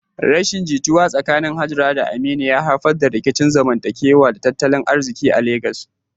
Rashin jituwa tsakanin Hajara da Aminu ya haifar da rikicin zamantakewa da tattalin arziki a Legas.